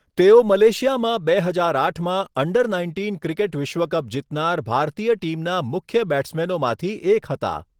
તેઓ મલેશિયામાં બે હજાર આઠમાં અન્ડર નાઇન્ટીન ક્રિકેટ વિશ્વ કપ જીતનાર ભારતીય ટીમના મુખ્ય બૅટ્સમેનોમાંથી એક હતા.